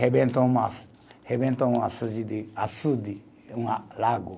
Rebentou um a, rebentou um açude de, açude, é um ah lago.